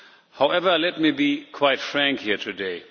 However, let me be quite frank here today.